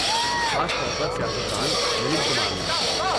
خاص طور پر سیاست دان نلین کمار نے۔